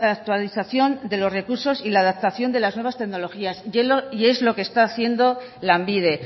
actualización de los recursos y la adaptación de las nuevas tecnologías y es lo que está haciendo lanbide